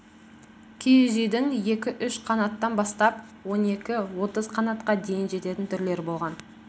киіз үйдің екі-үш қанаттан бастап он екі отыз қанатқа дейін жететін түрлері болған